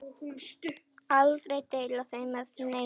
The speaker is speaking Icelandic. Aldrei deila þeim með neinum.